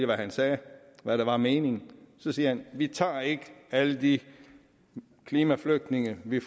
hvad han sagde hvad der var meningen så siger han vi tager ikke alle de klimaflygtninge vi